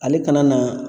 Ale kana na